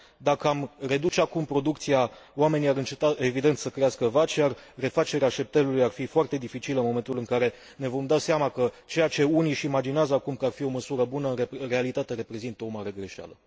Dacă am reduce acum producția, oamenii ar înceta, evident, să crească vaci, iar refacerea șeptelului ar fi foarte dificilă în momentul în care ne vom da seama că ceea ce unii își imaginează acum că ar fi o măsură bună, în realitate reprezintă o mare greșeală.